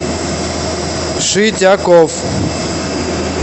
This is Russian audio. шитяков